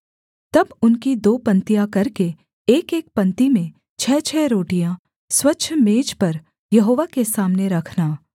तब उनकी दो पंक्तियाँ करके एकएक पंक्ति में छः छः रोटियाँ स्वच्छ मेज पर यहोवा के सामने रखना